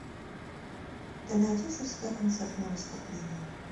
ты найдешь у себя концертное выступление